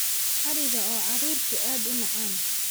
Ariga oo caruurtu aad u cunaan.